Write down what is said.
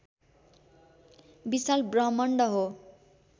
विशाल ब्रह्मण्ड हो